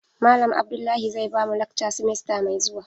Malam Abdullahi zai bamu lakca simesta mai zuwa.